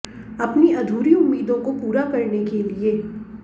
अपनी अधूरी उम्मीदों को पूरा करने के लिए